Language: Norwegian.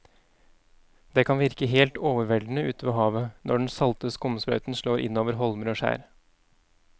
Det kan virke helt overveldende ute ved havet når den salte skumsprøyten slår innover holmer og skjær.